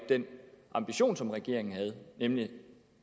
den ambition som regeringen havde nemlig